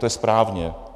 To je správně.